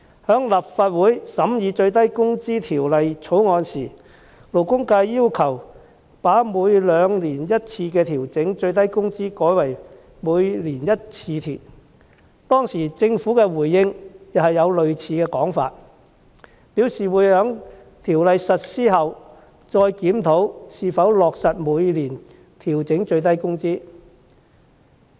在立法會審議《最低工資條例草案》時，勞工界要求把每兩年一次調整最低工資改為每年一次，當時政府的回應便載有類似說法，表示會在該條例草案實施後再檢討是否落實每年調整最低工資。